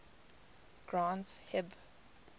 granth hib